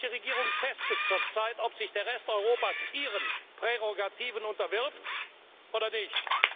Und die britische Regierung testet zurzeit, ob sich der Rest Europas ihren Prärogativen unterwirft oder nicht.